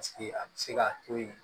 Paseke a bɛ se ka to yen